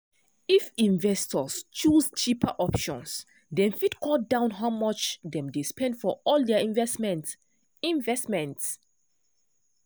if investors choose cheaper options dem fit cut down how much dem dey spend for all their investments. investments.